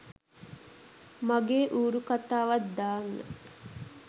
මගේ ඌරු කතාවත් දාන්න